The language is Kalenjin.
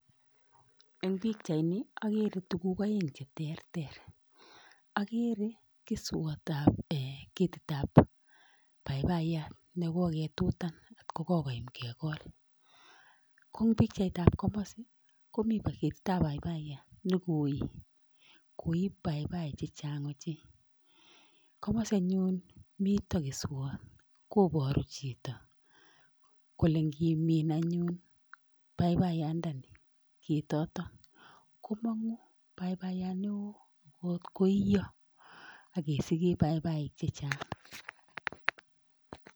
Eng pikchaini akere tuguk oeng cheterter, akere keswotap um ketitap paipayat nekoketutan atkokokoyam kekol. ko eng pikchaitap komasi, komi ketitap paipaiyat nekorur, koi paipai chechang ochei. Komasi anyun mito keswot koporu chito kole ngimin anyun paipayandani ketotok komong'u paipayat neo nkot koiyo akesikee paipaik chechang.